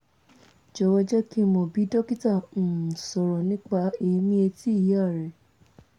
jọ̀wọ́ jẹ́ kí n mọ̀ bí dókítà um sọ̀rọ̀ nípa èèmí etí ìyá rẹ